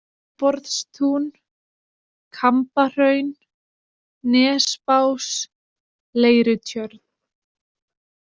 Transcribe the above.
Viðborðstún, Kambahraun, Nesbás, Leirutjörn